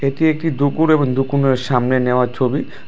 এটি একটি দুকুন এবং দুকুনের সামনে নেওয়া ছবি।